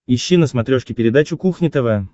ищи на смотрешке передачу кухня тв